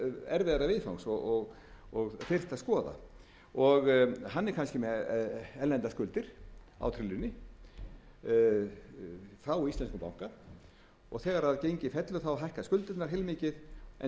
erfiðara viðfangs og þyrfti að skoða hann er kannski með erlendar skuldir á trillunni frá íslenskum banka og þegar gengið fellur hækka skuldirnar heilmikið en